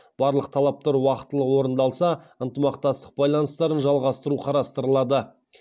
барлық талаптар уақтылы орындалса ынтымақтастық байланыстарын жалғастыру қарастырылады